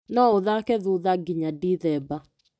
No ũthake thutha nginya Ndithemba.